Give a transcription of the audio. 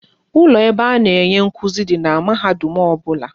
Ụlọ ebe a na-enye nkụzi dị n'mahadum ọbụla